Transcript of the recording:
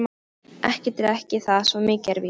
Ekki drekk ég það, svo mikið er víst.